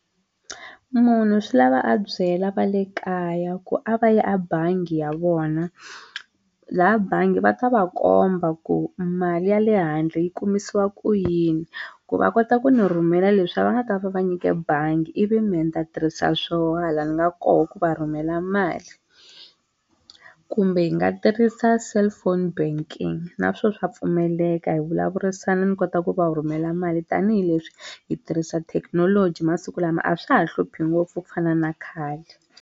Munhu swi lava a byela va le kaya ku a va yi a bangi ya vona laha bangi va ta va komba ku mali ya le handle yi kumisiwa ku yini ku va kota ku ni rhumela leswiya va nga ta va va nyike bangi ivi mehe ni ta tirhisa swoho hala ni nga koho ku va rhumela mali kumbe hi nga tirhisa cellphone banking naswo swa pfumeleka hi vulavurisana ni kota ku va rhumela mali tanihileswi hi tirhisa thekinoloji masiku lama a swa ha hluphi ngopfu ku fana na khale.